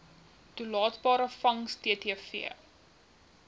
toelaatbare vangs ttv